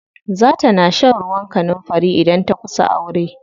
Za ta na shan ruwan kanunfari idan ta kusa aure.